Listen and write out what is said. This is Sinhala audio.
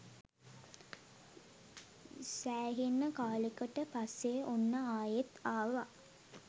සෑහෙන් කාලෙකට පස්සේ ඔන්න ආයෙත් ආවා.